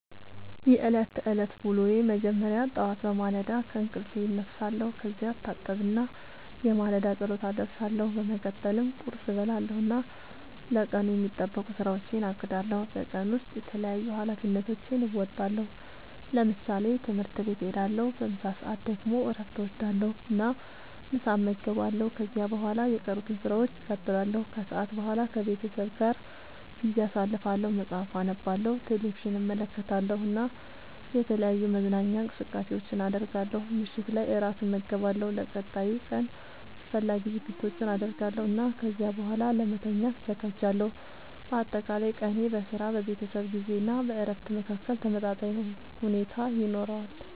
የዕለት ተዕለት ዉሎየ መጀመሪያ ጠዋት በማለዳ ከእንቅልፌ እነሳለሁ። ከዚያ እታጠብና የማለዳ ጸሎት አደርሳለሁ። በመቀጠልም ቁርስ እበላለሁ እና ለቀኑ የሚጠበቁ ሥራዎቼን አቅዳለሁ። በቀን ውስጥ የተለያዩ ኃላፊነቶቼን እወጣለሁ። ለምሳሌ፦ ትምህርት ቤት እሄዳለሁ። በምሳ ሰዓት ደግሞ እረፍት እወስዳለሁ እና ምሳ እመገባለሁ። ከዚያ በኋላ የቀሩትን ሥራዎች እቀጥላለሁ። ከሰዓት በኋላ ከቤተሰቤ ጋር ጊዜ አሳልፋለሁ፣ መጽሐፍ አነባለሁ፣ ቴሌቪዥን እመለከታለሁ እና የተለያዩ መዝናኛ እንቅስቃሴዎችን አደርጋለሁ። ምሽት ላይ እራት እመገባለሁ፣ ለቀጣዩ ቀን አስፈላጊ ዝግጅቶችን አደርጋለሁ እና ከዚያ በኋላ ለመተኛት እዘጋጃለሁ። በአጠቃላይ ቀኔ በሥራ፣ በቤተሰብ ጊዜ እና በእረፍት መካከል ተመጣጣኝ ሁኔታ ይኖረዋል።